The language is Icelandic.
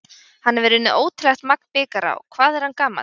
Hann hefur unnið ótrúlegt magn bikara og hvað er hann gamall?